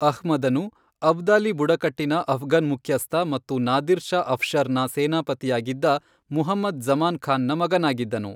ಅಹ್ಮದನು, ಅಬ್ದಾಲಿ ಬುಡಕಟ್ಟಿನ ಅಫ್ಘನ್ ಮುಖ್ಯಸ್ಥ ಮತ್ತು ನಾದಿರ್ ಶಾ ಅಫ್ಶರ್ನ ಸೇನಾಪತಿಯಾಗಿದ್ದ ಮುಹಮ್ಮದ್ ಜ಼ಮಾನ್ ಖಾನ್ನ ಮಗನಾಗಿದ್ದನು.